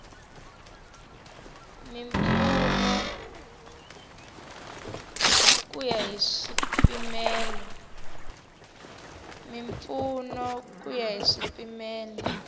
mimpfuno ku ya hi swipimelo